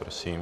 Prosím.